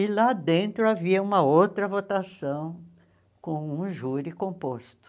E lá dentro havia uma outra votação com um júri composto.